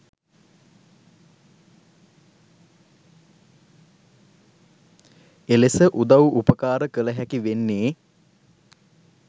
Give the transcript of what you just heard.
එලෙස උදව් උපකාර කළහැකි වෙන්නේ.